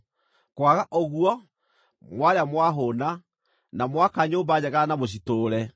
Kwaga ũguo, mwarĩa mwahũũna, na mwaka nyũmba njega na mũcitũũre,